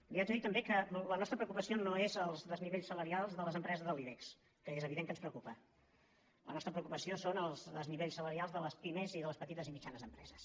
li haig de dir també que la nostra preocupació no és els desnivells salarials de les empreses de l’ibex que és evident que ens preocupa la nostra preocupació són els desnivells salarials de les pimes i de les petites i mitjanes empreses